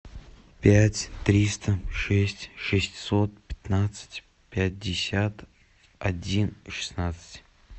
пять триста шесть шестьсот пятнадцать пятьдесят один шестнадцать